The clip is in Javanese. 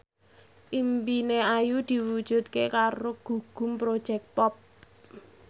impine Ayu diwujudke karo Gugum Project Pop